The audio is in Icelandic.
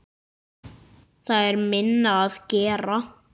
Það er minna að gera.